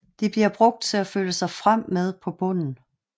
De bliver brugt til at føle sig frem med på bunden